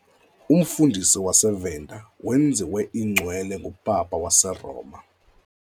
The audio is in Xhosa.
Umfundisi waseVenda wenziwe iNgcwele nguPapa waseRoma.